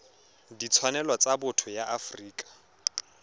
ditshwanelo tsa botho ya afrika